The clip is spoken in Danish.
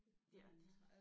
Ja og det